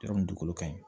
Yɔrɔ min dugukolo ka ɲi